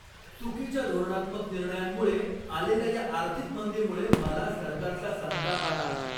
चुकीच्या धोरणात्मक निर्णयांमुळे आलेल्या या आर्थिक मंदीमुळे मला सरकारचा संताप आला.